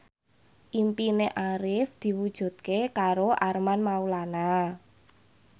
impine Arif diwujudke karo Armand Maulana